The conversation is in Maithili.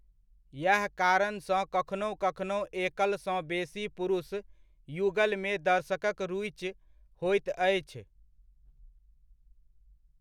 यएह कारणसँ कखनहुँ कखनहुँ एकलसँ बेसी पुरुष युगलमे दर्शकक रुचि होइत अछि।